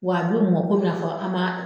Wa bi mɔ komi n'a fɔ an b'a.